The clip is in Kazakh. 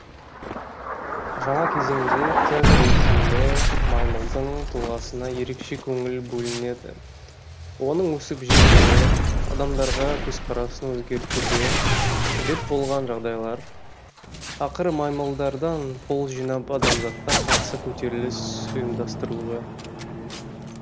жаңа кезеңде цезарь есімді маймылдың тұлғасына ерекше көңіл бөлінеді оның өсіп жетілуі адамдарға көзқарасын өзгертуге себеп болған жағдайлар ақыры маймылдардан қол жинап адамзатқа қарсы көтеріліс ұйымдастыруы